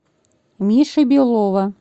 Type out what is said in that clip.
миши белова